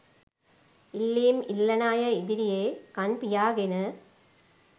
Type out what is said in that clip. ඉල්ලීම් ඉල්ලන අය ඉදිරියේ කන් පියාගෙන